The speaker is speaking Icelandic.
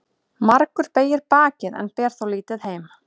Margur beygir bakið en ber þó lítið heim.